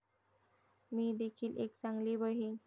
मी देखिल एक चांगली बहिण'